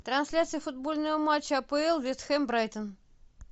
трансляция футбольного матча апл вест хэм брайтон